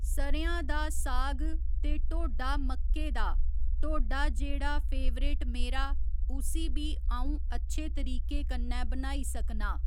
स'रेआं दा साग ते ढोडा मक्के दा ढोडा जेह्ड़ा फेवरेट मेरा उसी बी अ'उं अच्छे तरीके कन्नै बनाई सकना